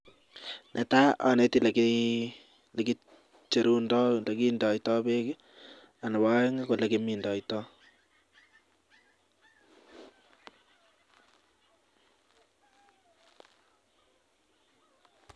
Netai aneti olekicherunfoi ak olekindetoi bek ak Nebo aeng ko olekimindoi